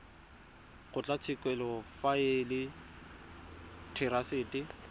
kgotlatshekelo fa e le therasete